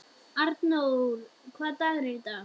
Arndór, hvaða dagur er í dag?